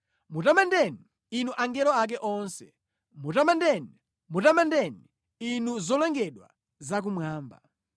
Mutamandeni, inu angelo ake onse, mutamandeni, mutamandeni, inu zolengedwa za mmwamba.